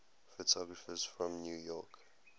photographers from new york